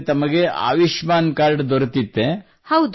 ಅಂದರೆ ತಮಗೆ ಆಯುಷ್ಮಾನ್ ಕಾರ್ಡ್ ದೊರೆತಿತ್ತೇ